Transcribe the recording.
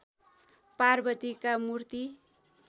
पार्वतीका मूर्ति